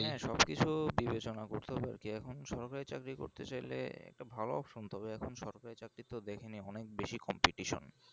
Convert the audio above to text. সব কিছু বিবেচনা করতে হবে ওকে এখন এখন সরকারি চাকরি করতে চাইলে একটা ভালো option তো তবে এখন সরকারি চাকরিতে দেখেন অনেক বেশি competition